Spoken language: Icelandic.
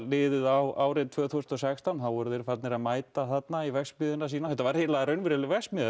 líður á árið tvö þúsund og sextán eru þeir farnir að mæta þarna í verksmiðjuna sína þetta var raunveruleg verksmiðja